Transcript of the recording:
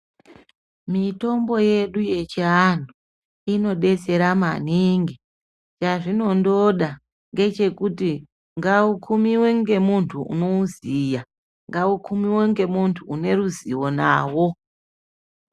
Mitombo yedu yechiantu inodetsera maningi yazvinongoda ndechekuti aikumiwi nemuntu unoziva ngaukumiwe nemuntu une ruzivo nawo.